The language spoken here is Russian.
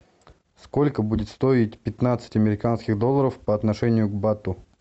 сколько будет стоить пятнадцать американских долларов по отношению к бату